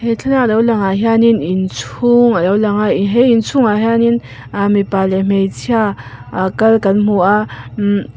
he thlalak lo lang ah hianin inchhung alo lang a he inchhung ah hianin ah mipa leh hmeichhia ah kal kan hmu a mm--